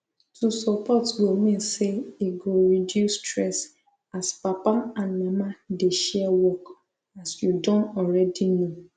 to support go mean say e go reduce stress as papa and mama dey share work as you don already know